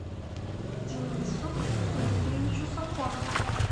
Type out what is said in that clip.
денису дмитриевичу сафонову